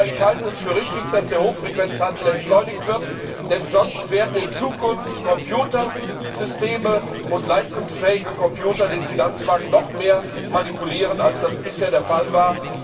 Aber ich halte es für richtig, dass der Hochfrequenzhandel entschleunigt wird, denn sonst werden in Zukunft Computersysteme und leistungsfähige Computer den Finanzmarkt noch mehr manipulieren, als das bisher der Fall war.